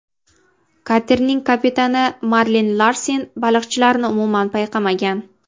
Katerning kapitani Marlin Larsen baliqchilarni umuman payqamagan.